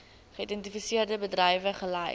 geïdentifiseerde bedrywe gelys